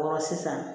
Wɔɔrɔ sisan